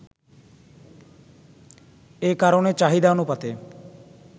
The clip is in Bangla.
এ কারণে চাহিদানুপাতে